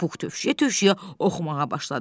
Pux tövşüyə-tövşüyə oxumağa başladı.